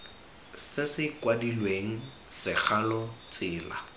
se se kwadilweng segalo tsela